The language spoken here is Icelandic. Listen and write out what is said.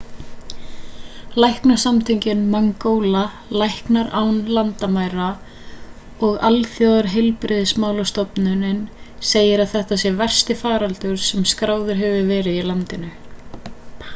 læknasamtökin mangola læknar án landamæra og alþjóðaheilbrigðismálastofnunin segja að þetta sé versti faraldurinn sem skráður hefur verið í landinu